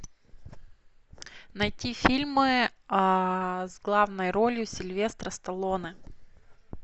найти фильмы с главной ролью сильвестра сталлоне